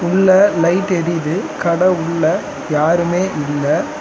உள்ள லைட் எரியிது. கட உள்ள யாருமே இல்ல.